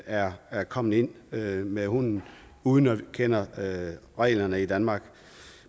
er er kommet ind med med hunden uden at kende reglerne reglerne i danmark